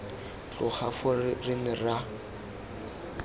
tloga foo re ne ra